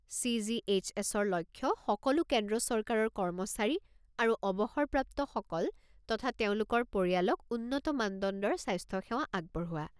চি.জি.এইচ.এছ.-ৰ লক্ষ্য সকলো কেন্দ্ৰ চৰকাৰৰ কৰ্মচাৰী আৰু অৱসৰপ্ৰাপ্ত সকল তথা তেওঁলোকৰ পৰিয়ালক উন্নত মানদণ্ডৰ স্বাস্থ্য সেৱা আগবঢ়োৱা।